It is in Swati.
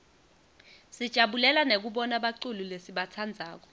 sijabulela nekubona baculi lesibatsandzako